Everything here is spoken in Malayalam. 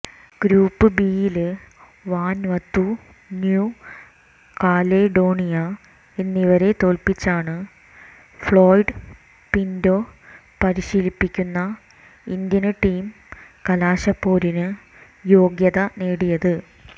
ഗ്രൂപ്പ് ബിയില് വന്വാതു ന്യൂ കാലേഡോണിയ എന്നിവരെ തോല്പ്പിച്ചാണ് ഫ്ളോയ്ഡ് പിന്റോ പരിശീലിപ്പിക്കുന്ന ഇന്ത്യന് ടീം കലാശപ്പോരിന് യോഗ്യത നേടിയത്